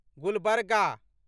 Gulbarga